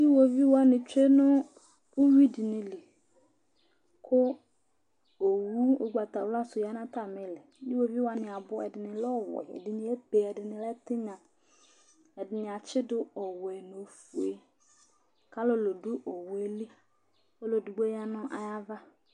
Iɣoviu wanɩ tsue nʋ uyui dɩnɩ li kʋ owu ʋgbatawla sʋ ya nʋ atamɩ ɩɩlɩ Iɣoviu wanɩ abʋ, ɛdɩnɩ lɛ ɔwɛ, ɛdɩ ebe, ɛdɩnɩ lɛ tɩnya Ɛdɩnɩ atsɩdʋ ɔwɛ nʋ ofue kʋ alʋlʋ dʋ owu yɛ li, ɔlʋ edigbo ya nʋ ayava